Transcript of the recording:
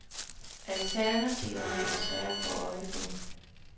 Alternativerne er svære at få øje på.